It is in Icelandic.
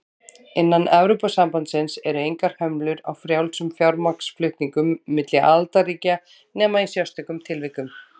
Innan Evrópusambandsins eru engar hömlur á frjálsum fjármagnsflutningum milli aðildarríkja nema í sérstökum tilvikum.